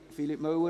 Philippe Müller?